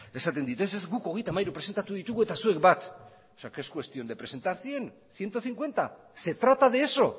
esaten dit ez ez guk hogeita hamairu presentatu ditugu eta zuek bat o sea que es cuestión de presentar cien ciento cincuenta se trata de eso